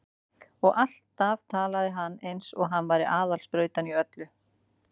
Og hann talaði alltaf eins og hann væri aðal sprautan í öllu.